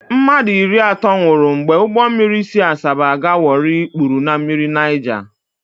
Mmadụ iri atọ nwụrụ mgbe ụgbọ mmiri si Asaba aga Warri kpuru na mmiri Naija.